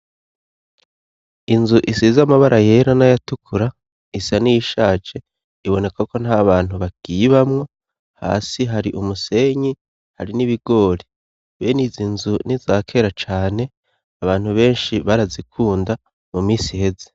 Inzu isize amabara yera n'ayatukura isa n'iyishaje iboneka ko nta bantu bakiyebamwo hasi hari umusenyi hari n'ibigori benizi nzu ni izakera cane abantu benshi barazikunda mu minsi iheze.